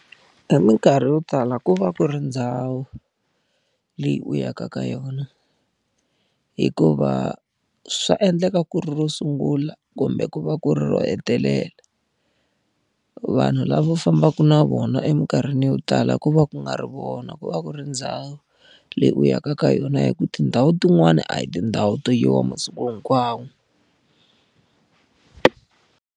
Hi minkarhi yo tala ku va ku ri ndhawu leyi u yaka ka yona. Hikuva swa endleka ku ri ro sungula kumbe ku va ku ri ro hetelela. Vanhu lava fambaka na vona eminkarhini yo tala ku va ku nga ri vona ku va ku ri ndhawu, leyi u yaka ka yona hikuva tindhawu tin'wani a hi tindhawu to yiwa masiku hinkwawo.